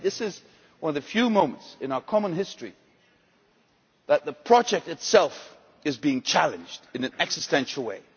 I think this is one of the few moments in our common history that the project itself is being challenged in an existential way.